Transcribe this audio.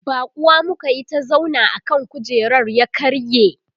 baƙuwa muka Yi ta zauna akan kujerar ya karye